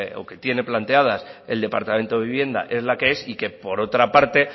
o que tiene planteadas el departamento de vivienda es la que es y que por otra parte